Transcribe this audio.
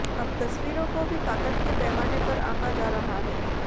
अब तस्वीरों को भी ताकत के पैमाने पर आंका जा रहा है